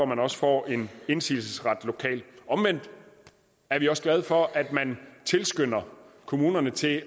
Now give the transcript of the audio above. man også får en indsigelsesret lokalt omvendt er vi også glade for at man tilskynder kommunerne til